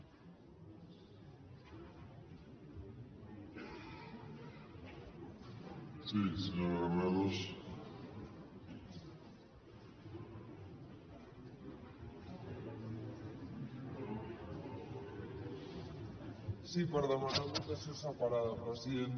sí per demanar votació separada president